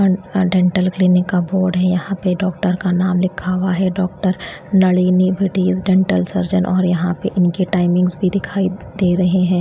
अ dental clinic का board है यहां पे डॉक्टर का नाम लिखा हुआ है doctor Nalini Patel dental surgeon और यहां पर उनकी टाइमिंग्स भी दिखाई दे रहे है।